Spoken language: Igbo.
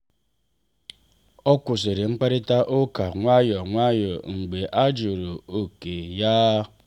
o kwụsịrị mkparịta ụka nwayọọ nwayọọ mgbe a jụrụ oke ya.